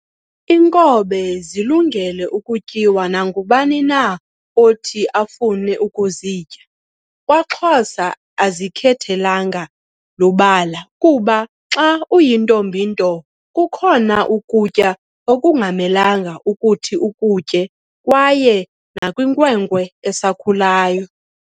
Inkobe zilungele ukutyiwa nangubani na othi afune ukuzitya kwaxhosa azikhethelanga lubala kuba xa uyintombi nto kukhona ukutya okungamelanga kuthi ukutye kaye nakwinkwenkwe esakhuluyo